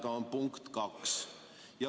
See on punkt 2.